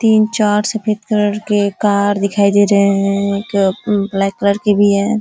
तीन चार सफ़ेद कलर के कार दिखाई दे रहे हैं। एक ब्लैक कलर के भी है ।